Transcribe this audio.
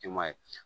I ma ye